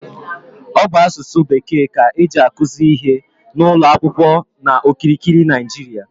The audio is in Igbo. Ọ bụ asụsụ bekee ka eji akuzi ihe n'ụlọ akwụkwọ n'okirikiri Naịjiria